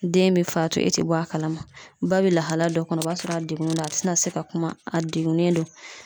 Den be faatu e te bɔ a kalama ba be lahalaya dɔ kɔnɔ o b'a sɔrɔ a degunen do a te na se ka kuma a degunnen do